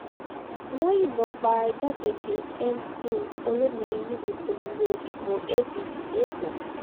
wọ́n yìnbọn pa igbákejì mc olomini níbi ìpolongo ìbò apc lẹ́kọ̀ọ́